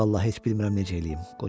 Vallah heç bilmirəm necə eləyim,